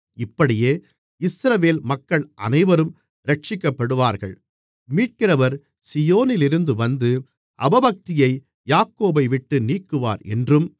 இப்படியே இஸ்ரவேல் மக்கள் அனைவரும் இரட்சிக்கப்படுவார்கள் மீட்கிறவர் சீயோனிலிருந்து வந்து அவபக்தியை யாக்கோபைவிட்டு நீக்குவார் என்றும்